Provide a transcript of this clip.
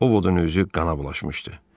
Ovodun özü qana bulaşmışdı.